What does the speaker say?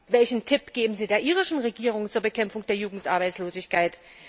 Welchen Tipp geben Sie der irischen Regierung zur Bekämpfung der Jugendarbeitslosigkeit?